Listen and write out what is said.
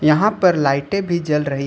यहां पर लाइटें भी जल रही है।